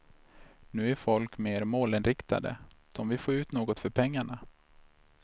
Nu är folk mer målinriktade, de vill få ut något för pengarna.